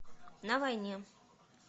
на войне